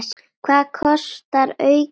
Hvað kostar aukið öryggi?